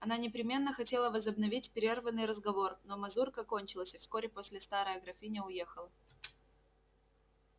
она непременно хотела возобновить прерванный разговор но мазурка кончилась и вскоре после старая графиня уехала